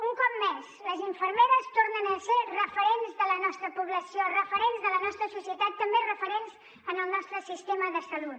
un cop més les infermeres tornen a ser referents de la nostra població referents de la nostra societat també referents en el nostre sistema de salut